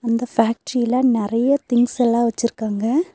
இந்த ஃபேக்டிரில நெறைய திங்ஸ் எல்லா வெச்சிருக்காங்க.